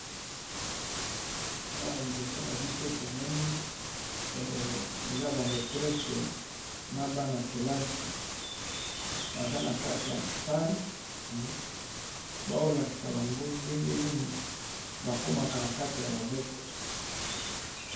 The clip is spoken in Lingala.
Awa liboso na biso tomoni eza ba metresse na bana -kelasi, baza na kati ya sale bazolakisa bango ndengenini bakomaka na kati ya babuku.